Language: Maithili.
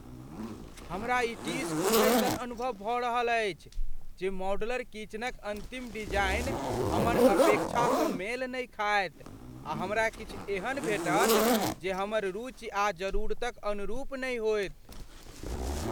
हमरा ई टीस उठैसन अनुभव भऽ रहल अछि जे मॉड्यूलर किचनक अन्तिम डिजाइन हमर अपेक्षासँ मेल नहि खायत आ हमरा किछु एहन भेटत जे हमर रुचि या जरूरतक अनुरूप नहि होयत।